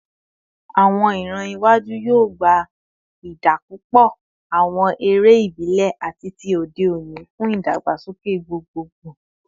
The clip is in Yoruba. Awọn iran iwaju yoo gba idapọpọ awọn ere ibile ati ti ode oni fun idagbasoke gbogbogbo